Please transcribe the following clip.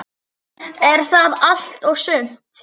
Er það allt og sumt?